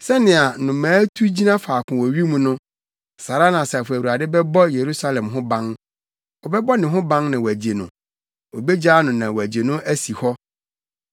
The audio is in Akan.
Sɛnea nnomaa tu gyina faako wɔ wim no saa ara na Asafo Awurade bɛbɔ Yerusalem ho ban; ɔbɛbɔ ne ho ban na wagye no, obegyaa no na wagye no asi hɔ.”